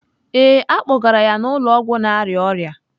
Ee, a kpọgara ya n'ụlọ ọgwụ na-arịa ọrịa.